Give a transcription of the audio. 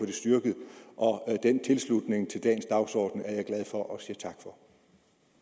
det styrket den tilslutning til dagens dagsorden er jeg glad for